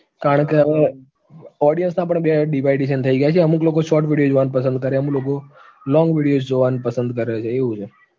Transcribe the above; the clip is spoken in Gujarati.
કારણ કે હવે audience ના પણ બે division થઇ ગયા છે, અમુક લોકો short video જોવાનું પસંદ કરે, અમુક લોકો long videos જોવાનું પસંદ કરે છે એવું છે